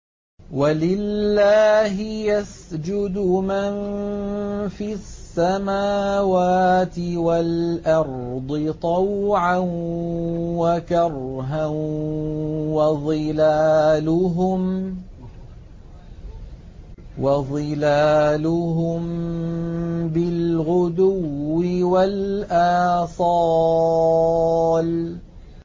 وَلِلَّهِ يَسْجُدُ مَن فِي السَّمَاوَاتِ وَالْأَرْضِ طَوْعًا وَكَرْهًا وَظِلَالُهُم بِالْغُدُوِّ وَالْآصَالِ ۩